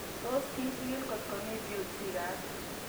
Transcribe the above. Tos kichig'ili kotko mii Peutz Jeghers